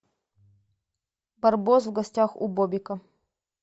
барбос в гостях у бобика